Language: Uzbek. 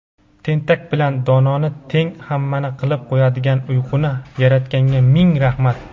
tentak bilan dononi teng hammani qilib qo‘yadigan uyquni yaratganga ming rahmat.